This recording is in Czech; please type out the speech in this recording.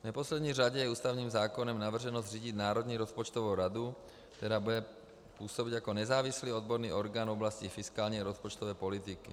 V neposlední řadě je ústavním zákonem navrženo zřídit Národní rozpočtovou radu, která bude působit jako nezávislý odborný orgán v oblasti fiskální a rozpočtové politiky.